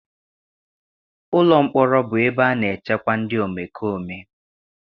Ụlọ mkpọrọ bụ ebe a na-echekwa ndị omekome.